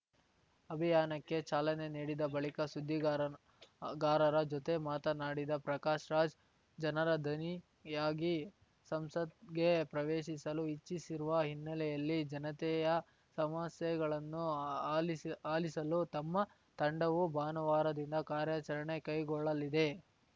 ಅಭಿಯಾನಕ್ಕೆ ಚಾಲನೆ ನೀಡಿದ ಬಳಿಕ ಸುದ್ದಿಗಾರನಗಾರರ ಜೊತೆ ಮಾತನಾಡಿದ ಪ್ರಕಾಶ್‌ ರಾಜ್‌ ಜನರ ದನಿಯಾಗಿ ಸಂಸತ್‌ಗೆ ಪ್ರವೇಶಿಸಲು ಇಚ್ಛಿಸಿರುವ ಹಿನ್ನೆಲೆಯಲ್ಲಿ ಜನತೆಯ ಸಮಸ್ಯೆಗಳನ್ನು ಆಲಿ ಆಲಿಸಲು ತಮ್ಮ ತಂಡವು ಭಾನುವಾರದಿಂದ ಕಾರ್ಯಾಚರಣೆ ಕೈಗೊಳ್ಳಲಿದೆ